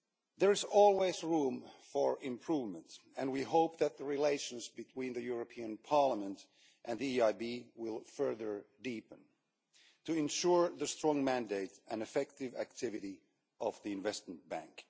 There is always room for improvement and we hope that the relations between the European Parliament and the EIB will further deepen to ensure the strong mandate and effective activity of the Investment Bank.